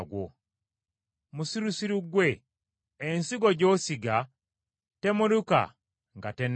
Musirusiru ggwe! Ensigo gy’osiga temeruka nga tennafa.